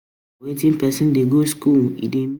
Na wen pesin dey go skool e dey meet plenty friends for life.